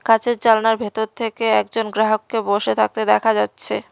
কাঁচের জানলার ভেতর থেকে একজন গ্রাহককে বসে থাকতে দেখা যাচ্ছে।